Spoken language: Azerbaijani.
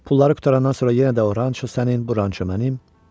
Pulları qurtarandan sonra yenə də o ranço sənin, bu ranço mənim.